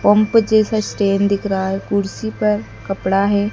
Pump जैसा stand दिख रहा है कुर्सी पर कपड़ा है।